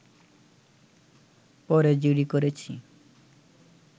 পরে জিডি করেছি